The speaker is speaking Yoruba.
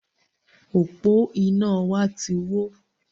Òpó iná wa ti wó